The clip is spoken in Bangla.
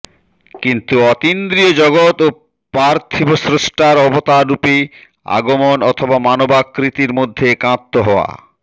কিন্তু অতীন্দ্ৰিয় জগত ও পার্থিব স্রষ্টার অবতাররূপে আগমন অথবা মানবাকৃতির মধ্যে একাত্ম হওয়া